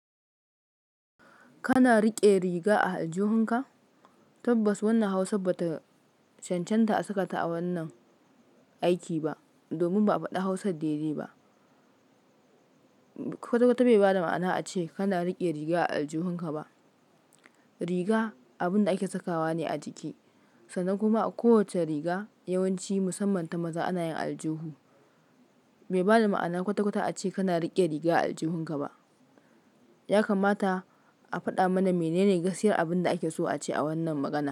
Kana riƙe riga a aljuhunka? Tabbas wannan Hausar ba ta cancanta a saka ta a wannan aiki ba. Domin ba a faɗa Hausar daidai ba. Kwata kwata bai ba da ma'ana ace kana riƙe riga a aljuhunka ba. Riga abin da ake sakawa ne a jiki. Sannan kuma a kowacce riga yawanci musamman ta maza ana yin aljuhu. Bai ba da ma'ana kwata kwata ace kana riƙe riga a aljuhunka ba. Ya kamata a faɗa mana menene gaskiyar abin da ake so a ce a wannan magana.